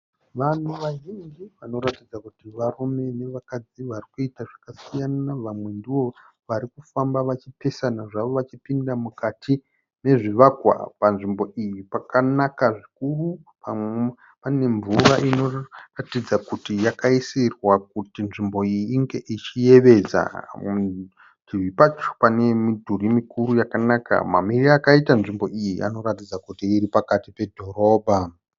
Vanhu vazhinji vanoratidza kuti varume navakadzi vari kuita zvakasiyana. Vamwe ndivo vari kufamba vachipesana zvavo vachipinda mukati mezvivakwa. Panzvimbo iyi pakanaka zvikuru. Pane mvura inoratidza kuti yakaisirwa kuti nzvimbo iyi inge ichiyevedza. Parutivi pacho pane midhuri mikuru yakanaka. Mamirire akaita nzvimbo iyi anoratidza kuti iri pakati pedhorobha.